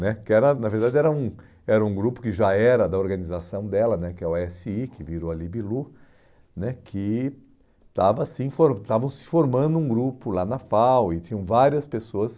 Né que era na verdade, era um era um grupo que já era da organização dela né, que é o esse i, que virou a Libilu né, que estavam sim for estava se formando um grupo lá na FAU e tinham várias pessoas